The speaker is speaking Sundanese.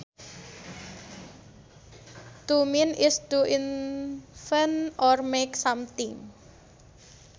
To mint is to invent or make something